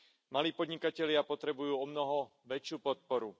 Malí podnikatelia potrebujú omnoho väčšiu podporu.